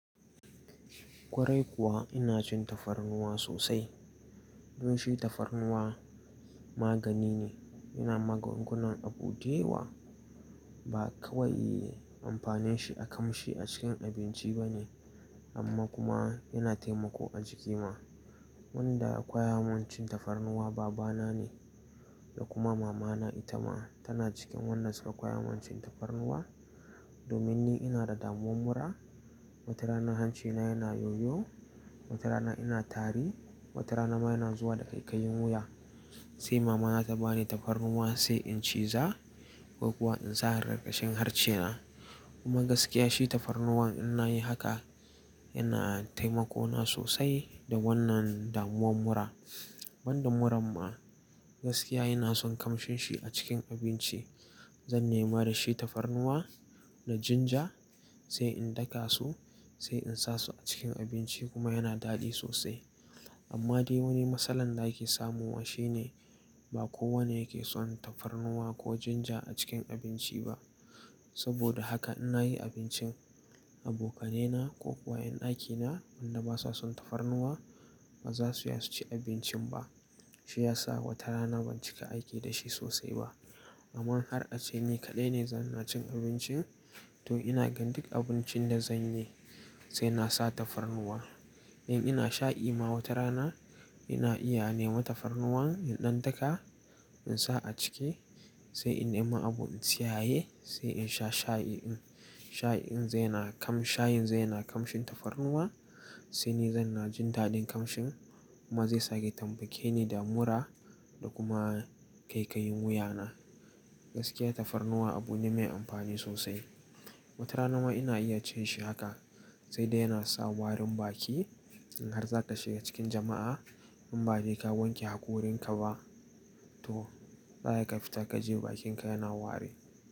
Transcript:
Kwarai kuwa ina cin tafarnuwa sosai. Don shi tafarnuwa magani ne, yana magungunan abu dayawa. Ba kawai amfanin shi a kamshi a cikin abinci ba ne, amma kuma yana taimako a jiki ma. Wanda ya koya min cin tafarnuwa baba na ne da kuma mama na ita ma tana cikin wannan suka koya min cin tafarnuwa. Domin ni ina da damuwan mura. Wata rana hanci na yana yoyo, wata rana ina tari, wata rana ma yana zuwa da ƙaiƙayin wuya. Sai mama na ta ba ni tafarnuwa sai in ciza ko kuwa in sa a karkashin harce na. Kuma gaskiya shi tafarnuwa in nayi haka yana taimako na sosai da wannan damuwan mura. Banda muran ma gaskiya ina son kamshin shi a cikin abinci. Zan nema da shi tafarnuwa da ginger sai in daka su sai in sa su a cikin abinci kuma yana daɗi sosai. Amma dai wani matsalan da ake samu wa shine ba kowane yake son tafarnuwa ko ginger a cikin abinci ba. Saboda haka in nayi abincin abokanai na ko kuwa 'yan aiki na wanda basa son tafarnuwa ba za su iya su ci abincin ba. Shi ya sa wata rana ban cika aiki da shi sosai ba. Amma in har a ce ni kaɗai ne zan na cin abincin to ina gan duk abincin da zanyi sai na sa tafarnuwa. In ina shayi ma wata rana ina iya nema tafarnuwan in dan daka in sa a ciki sai in nema abu in tsiyaye sai in sha shayi din. Shayi din zai na kam, shayin zai na kamshin tafarnuwa sai ni zan na jin daɗin kamshin kuma zai sake taimake ni da mura da kuma ƙaiƙayin wuya na. Gaskiya tafarnuwa abu ne mai amfani sosai. Wata rana ma ina iya cin shi haka sai dai yana sa warin baki in har zaka shiga cikin jama'a in badai ka wanke hakorin ka ba zaka iya ka fita kaje bakin ka yana ware.